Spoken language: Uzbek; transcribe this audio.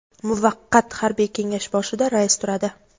Muvaqqat harbiy kengash boshida rais turadi.